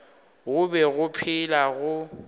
go be go phela go